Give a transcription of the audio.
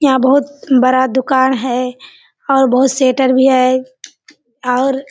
यहाँ बहुत बड़ा दुकान है और बहुत शटर भी है और --